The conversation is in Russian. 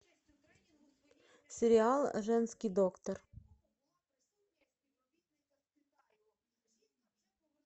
сериал женский доктор